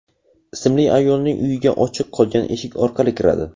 ismli ayolning uyiga ochiq qolgan eshik orqali kiradi.